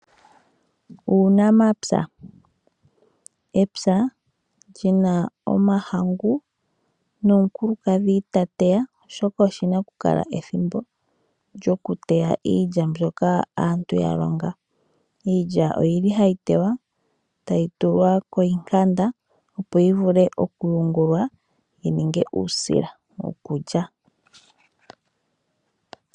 Uunamapya Epya li na omahangu nomukulukadhi ta teya, oshoka oshi na okukala ethimbo lyokuteya iilya mbyoka aantu ya longa. Iilya ohayi teywa, tayi tulwa koshihayaya, opo yi vule okuyungulwa yi ninge uusila wokulya.